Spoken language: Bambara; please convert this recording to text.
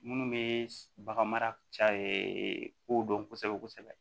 Munnu be bagan mara ca kow dɔn kosɛbɛ kosɛbɛ